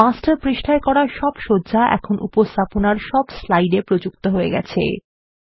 master পৃষ্টায় করা সব সজ্জা এখন উপস্থাপনার সব স্লাইডে প্রযুক্ত হয়ে গেছে